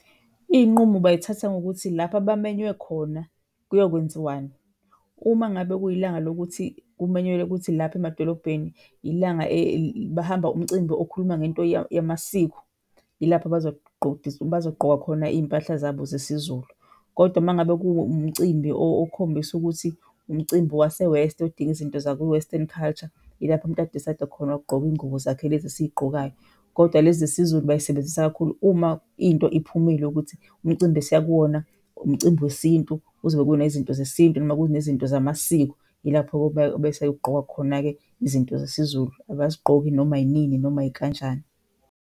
Iy'nqumo bayithatha ngokuthi lapho abamenywe khona kuyokwenziwani. Uma ngabe kuyilanga lokuthi kumenyelwe ukuthi lapho emadolobheni ilanga bahamba umcimbi okhuluma ngento yamasiko, yilapho abazogqoka khona iy'mpahla zabo zesiZulu, kodwa uma ngabe kuwumcimbi okhombisa ukuthi umcimbi wase-West, odinga izinto zaku-Western culture, yilapho umuntu a-decide-a khona ukugqoka iy'ngubo zakhe lezi esiy'gqokayo kodwa lezi zesiZulu bayisebenzisa kakhulu uma into iphumile ukuthi umcimbi esiya kuwona umcimbi wesintu kuzobe kunezinto zesintu noma kunezinto zamasiko, yilapho bese kugqokwa khona-ke izinto zesiZulu, abazigqoki noma inini, noma ikanjani.